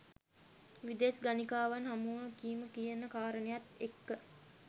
විදෙස් ගණිකාවන් හමුවීම කියන කාරණයත් එක්ක